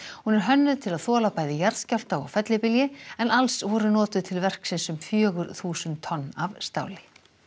hún er hönnuð til að þola bæði jarðskjálfta og fellibylji en alls voru notuð til verksins um fjögur þúsund tonn af stáli